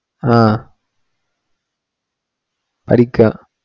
ആഹ് പഠിക്കുവാ